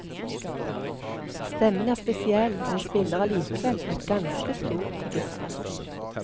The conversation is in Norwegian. Stemmen er spesiell, men spiller allikevel på et ganske stort register.